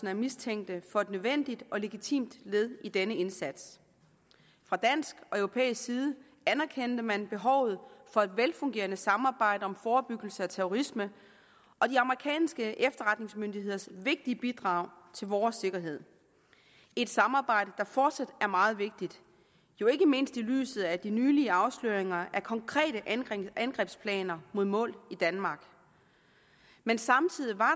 af mistænkte for et nødvendigt og legitimt led i denne indsats fra dansk og europæisk side anerkendte man behovet for et velfungerende samarbejde om forebyggelse af terrorisme og de amerikanske efterretningsmyndigheders vigtige bidrag til vores sikkerhed et samarbejde der fortsat er meget vigtigt jo ikke mindst i lyset af de nylige afsløringer af konkrete angrebsplaner mod mål i danmark men samtidig var